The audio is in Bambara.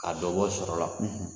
Ka dɔ bɔ sɔrɔla